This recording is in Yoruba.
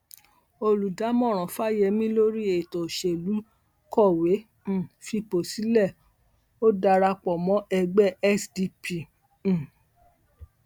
olùdámọràn fáyemí lórí ètò òṣèlú kọwé um fipò sílẹ ó darapọ mọ ẹgbẹ sdp um